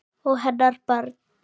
Og hennar barn.